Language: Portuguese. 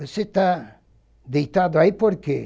Você está deitado aí por quê?